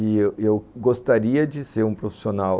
E eu eu gostaria de ser um profissional